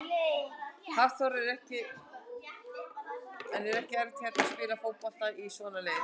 Hafþór: En er ekki erfitt að hérna, spila fótbolta í svona leir?